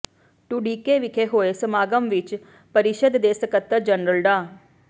ਢੁੱਡੀਕੇ ਵਿਖੇ ਹੋਏ ਸਮਾਗਮ ਵਿਚ ਪਰਿਸ਼ਦ ਦੇ ਸਕੱਤਰ ਜਨਰਲ ਡਾ